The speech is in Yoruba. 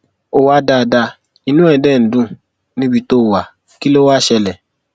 ó wà dáadáa inú ẹ dé ń dùn níbi tó wà kí ló wàá ṣẹlẹ